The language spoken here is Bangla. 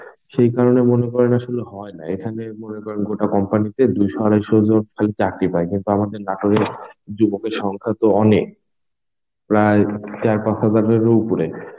সেই কারণে মনে করেন আসলে হয় না, মনে করেন গোটা কোম্পানিতে দুই আড়াইশো জন খালি চাকরি পায় কিন্তু আমাদের নাটোরের যুবকের সংখ্যা তো অনেক. প্রায় চার পাঁচ হাজারেরও উপরে